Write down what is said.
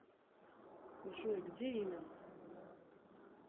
джой где именно